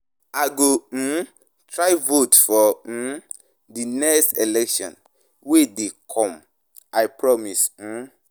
I go try vote for the next election wey dey come. I promise.